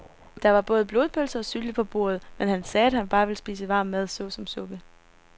Der var både blodpølse og sylte på bordet, men han sagde, at han bare ville spise varm mad såsom suppe.